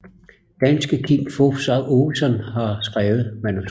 Danske Kim Fupz Aakeson har skrevet manuskriptet